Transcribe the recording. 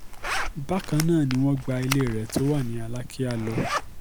bákan náà ni wọ́n gba ilé rẹ̀ tó wà ní alákìá lọ